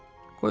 Qoy olsun.